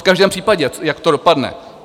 V každém případě, jak to dopadne?